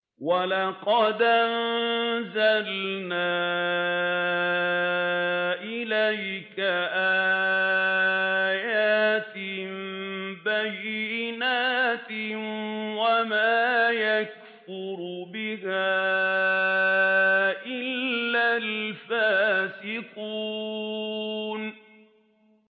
وَلَقَدْ أَنزَلْنَا إِلَيْكَ آيَاتٍ بَيِّنَاتٍ ۖ وَمَا يَكْفُرُ بِهَا إِلَّا الْفَاسِقُونَ